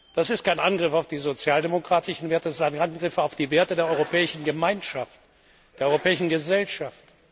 Das ist kein Angriff auf die sozialdemokratischen Werte, sondern ein Angriff auf die Werte der Europäischen Gemeinschaft, der europäischen Gesellschaft.